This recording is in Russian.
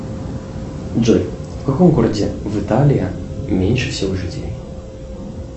джой в каком городе в италии меньше всего жителей